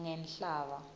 ngenhlaba